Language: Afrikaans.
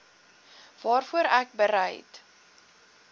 waarvoor ek bereid